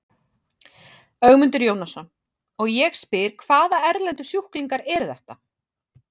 Ögmundur Jónasson: Og ég spyr, hvaða erlendu sjúklingar eru þetta?